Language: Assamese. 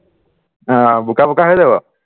অ বোকা বোকা হৈ যাব